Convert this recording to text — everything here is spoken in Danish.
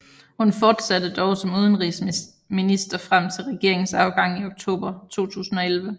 Hun fortsatte dog som udenrigsminister frem til regeringens afgang i oktober 2011